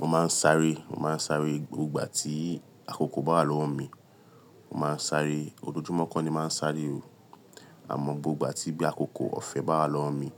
Mo máa ń sáré, mo máa ń sáré gbogbo ìgbà tí àkókò bá lọ́wọ́ mi, mo máa ń sáré, ojoojúmọ́ kọ́ ni máa ń sáré o. Àmọ́ gbogbo ìgbà tí bí àkókò ọ̀fẹ́ bá lọ́wọ́ mi,